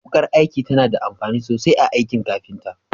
Wukar aiki tana da amfani sosai a aikin kafinta.